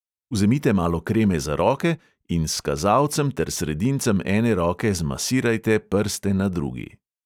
Vzemite malo kreme za roke in s kazalcem ter sredincem ene roke zmasirajte prste na drugi.